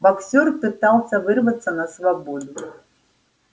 боксёр пытался вырваться на свободу